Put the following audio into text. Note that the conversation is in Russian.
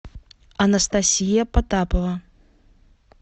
анастасия потапова